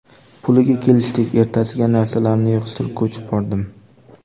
Puliga kelishdik, ertasiga narsalarimni yig‘ishtirib, ko‘chib bordim.